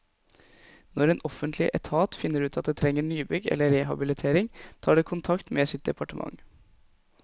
Når en offentlig etat finner ut at det trenger nybygg eller rehabilitering, tar det kontakt med sitt departement.